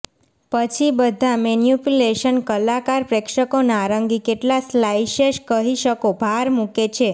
પછી બધા મેનિપ્યુલેશન્સ કલાકાર પ્રેક્ષકો નારંગી કેટલા સ્લાઇસેસ કહી શકો ભાર મૂકે છે